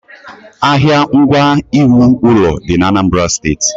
Ahịa ngwa iwu ụlọ dị ạnambara steeti.